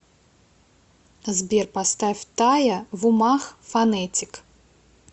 сбер поставь тая в умах фонетик